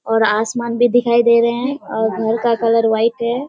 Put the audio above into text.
और आसमान भी दिखाई दे रहे है और घर का कलर व्हाइट है।